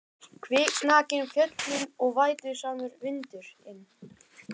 Kviknakin fjöllin og vætusamur vindur- inn.